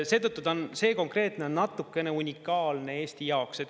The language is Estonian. Seetõttu see konkreetne on natukene unikaalne Eesti jaoks.